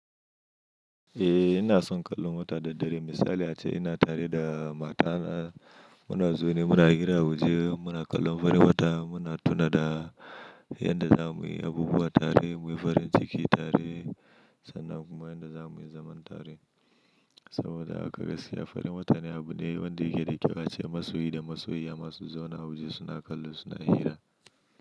Eh, ina son kallon wata da dare. Misali ace ina tare da matana muna zaune muna hira, mu je muna kallon farin wata, muna tuna da yanda za muyi abubuwa tare, muyi farin ciki tare sannan kuma yanda za muyi zaman tare. Saboda haka gaskiya farin wata ne abu ɗaya wanda yake da kyau ace masoyi da masoyi, ama su zaune a wa je suna kallo suna hira.